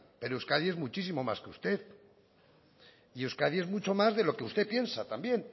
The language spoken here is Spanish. pero euskadi es muchísimo más que usted y euskadi es mucho más de lo que usted piensa también